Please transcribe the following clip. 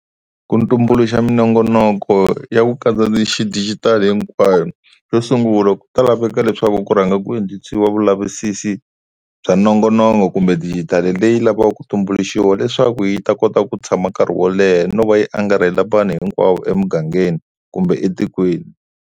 Ku tumbuluxa minongonoko ya ku katsa ti xidijitali hinkwayo, xo sungula ku ta laveka leswaku ku rhanga ku endliwa vulavisisi bya nongonoko kumbe dijitali leyi lavaka ku tumbuluxiwa leswaku yi ta kota ku tshama nkarhi wo leha no va yi angarhela vanhu hinkwavo emugangeni kumbe etikweni.